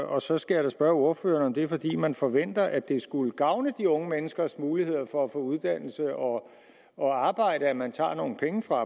og så skal jeg spørge ordføreren om det fordi man forventer at det skulle gavne de unge menneskers muligheder for at få uddannelse og og arbejde at man tager nogle penge fra